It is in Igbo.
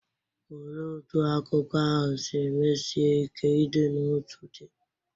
Olee otú akụkọ ahụ si mesie ike ịdị n’otu dị?